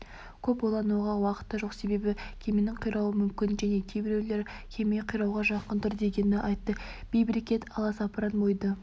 көп ойлануға уақыт та жоқ себебі кеменің қирауы мүмкін және кейбіреулер кеме қирауға жақын тұр дегенді айтты бейберекет аласапыран ойды